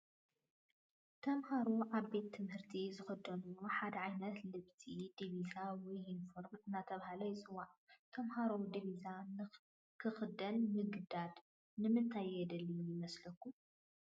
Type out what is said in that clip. ተመሃሮ ኣብ ቤት ትምህርቲ ዝኽደንዎ ሓደ ዓይነት ልብሲ ዲቢዛ ወይ ዩኒፎርም እናተባህለ ይፅዋዕ፡፡ ተመሃሮ ዲቢዛ ንኽኽደኑ ምግዳድ ንምንታይ የድሊ ይመስለኩም?